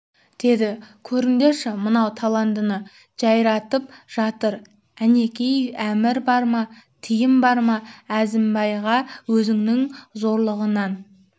деді көріңдерші мынау таландыны жайратып жатыр әнеки әмір бар ма тыйым бар ма әзімбайға өзінің зорлығынан